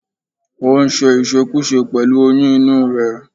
O sì ń ṣe ìṣekúṣe pẹ̀lú oyún inú rẹ̀